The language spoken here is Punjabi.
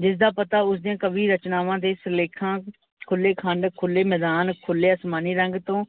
ਜਿਸ ਦਾ ਪਤਾ ਉਸਦੀ ਕਵੀ ਰਚਨਾਵਾਂ ਦੇ ਸਿਰਲੇਖਾਂ ਖੁੱਲੇ ਖੰਡ, ਖੁੱਲੇ ਮੈਦਾਨ, ਖੁੱਲੇ ਆਸਮਾਨੀ ਰੰਗ ਤੋਂ